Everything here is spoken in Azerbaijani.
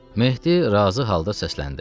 Mehdi razı halda səsləndi.